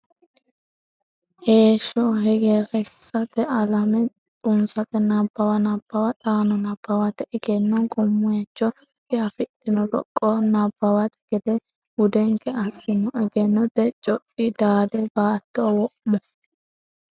Heeshsho hegersate alame xunsate Nabbawa nabbawa xaano nabbawate Egenno gumaycho diafidhino roqqo Nabbawate gade budenke assi’no Egennote coi daade baatto wo’mo.